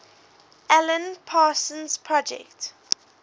alan parsons project